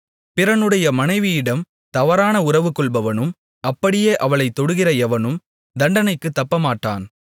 பிறனுடைய மனைவியிடம் தவறான உறவுகொள்பவனும் அப்படியே அவளைத் தொடுகிற எவனும் தண்டனைக்குத் தப்பமாட்டான்